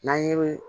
N'an ye